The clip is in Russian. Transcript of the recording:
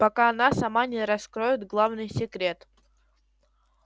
пока она сама не раскроет главный секрет